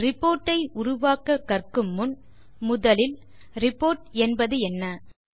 report ஐ உருவாக்க கற்கு முன் முதலில் ரிப்போர்ட் என்பதென்ன160